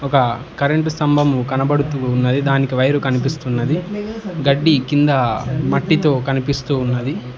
ఒక కరెంటు స్తంభము కనబడుతూ ఉన్నది దానికి వైరు కనిపిస్తున్నది గడ్డి కింద మట్టితొ కనిపిస్తూ ఉన్నది.